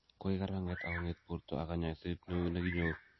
Koik karanget, akonget borto ak konyoiset neu nekinyoru.